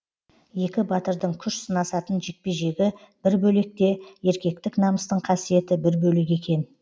екі батырдың күш сынасатын жекпе жегі бір бөлек те еркектік намыстың қасиеті бір бөлек екен